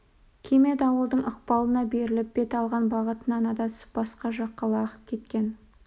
кеме дауылдың ықпалына беріліп бет алған бағытынан адасып басқа жаққа лағып кеткен